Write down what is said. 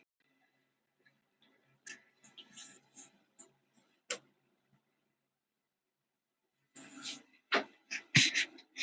Mennirnir sem létust voru á þrítugsaldri